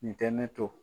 Nin tɛ ne to